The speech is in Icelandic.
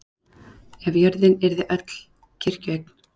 Ef jörðin yrði öll kirkjueign.